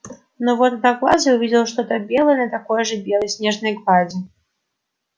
но вот одноглазый увидел что-то белое на такой же белой снежной глади